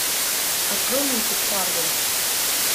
открой мультик фарго